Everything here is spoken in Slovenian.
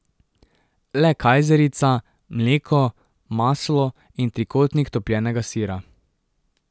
Le kajzerica, mleko, maslo in trikotnik topljenega sira.